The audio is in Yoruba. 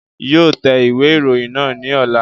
Yóò tẹ ìwé ìròyìn náà ní ọ̀la